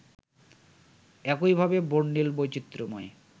একইভাবে বর্ণিল ও বৈচিত্র্যময়